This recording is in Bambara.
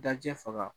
Da jɛfaga